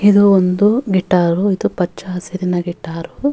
ಇದು ಒಂದು ಗಿಟ್ಟಾರು ಇದು ಪಚ್ಚ ಹಸಿರಿನ ಗಿಟ್ಟಾರು.